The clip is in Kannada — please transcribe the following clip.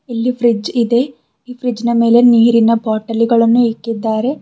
ಇಲ್ಲಿ ಫ್ರಿಡ್ಜ್ ಇದೆ ಈ ಫ್ರಿಡ್ಜ್ ನ ಮೇಲೆ ನೀರಿನ ಬಾಟಲಿ ಗಳನ್ನು ಇಕ್ಕಿದ್ದಾರೆ.